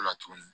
O la tugunni